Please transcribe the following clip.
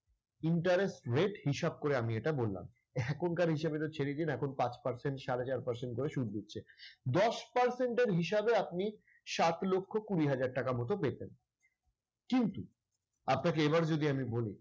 intarest rate হিসাব করে আমি এটা বললাম। এখনকার হিসাবে এটা ছেড়ে দিন, এখন পাঁচ percent সাড়ে চার percent সুদ দিচ্ছে। দশ percent এর হিসাবে আপনি সাত লক্ষ কুড়ি হাজার টাকার মত পেতেন। কিন্তু আপনাকে এবার যদি আমি বলি